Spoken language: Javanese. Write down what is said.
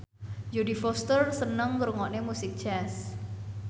Jodie Foster seneng ngrungokne musik jazz